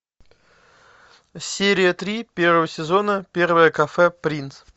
серия три первого сезона первое кафе принц